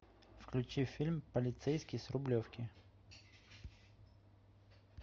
включи фильм полицейский с рублевки